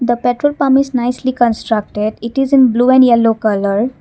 the petrol pump is nicely constructed it is in blue and yellow colour.